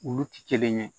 Olu ti kelen ye